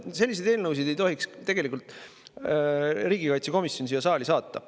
Selliseid eelnõusid ei tohiks riigikaitsekomisjon tegelikult üldse siia saali saata.